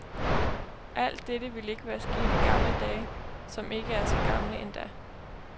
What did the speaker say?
Alt dette ville ikke være sket i gamle dage, som ikke er så gamle endda.